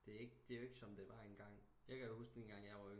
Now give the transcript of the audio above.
Det er ikke det er jo ikke som det var en gang jeg kan da huske den gang jeg var